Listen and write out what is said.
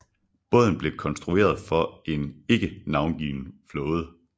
Båden blev konstrueret for en ikke navngiven flåde